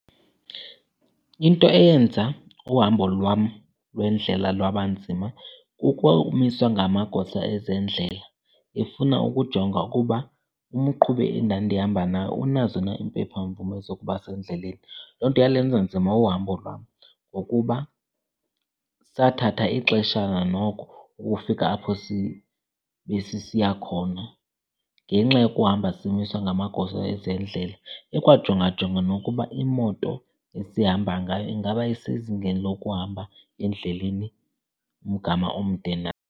Into eyenza uhambo lwam lwendlela lwaba nzima kukumiswa ngamagosa ezendlela efuna ukujonga ukuba umqhubi endandihamba naye unazo na iimpephamvume zokuba sendleleni. Loo nto yalenza nzima uhambo lwam ngokuba sathatha ixeshana noko ukufika apho besisiya khona ngenxa yokuhamba simiswa ngamagosa ezendlela, ekwajongajonga nokuba imoto esihamba ngayo ingaba isezingeni lokuhamba endleleni umgama omde na.